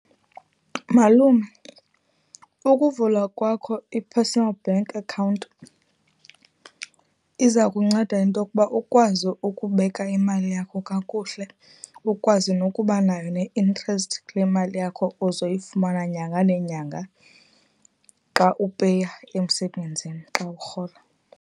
Malume, ukuvula kwakho i-personal bank account iza kunceda intokuba ukwazi ukubeka imali yakho kakuhle, ukwazi nokuba nayo ne-interest kule mali yakho uzoyifumana nyanga nenyanga xa upeya emsebenzini, xa urhola.